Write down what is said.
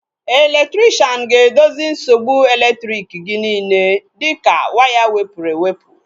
Elektrikshan ga-edozi nsogbu elektriki gị niile dịka waya wepụrụ ewepụ